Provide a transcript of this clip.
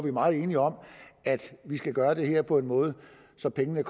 er meget enige om at vi skal gøre det her på en måde så pengene